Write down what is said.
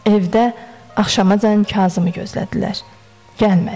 Evdə axşamacan Kazımı gözlədilər.